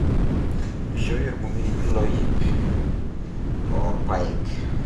Keishooyie orbungei inkiloi ntomomi iip orpaek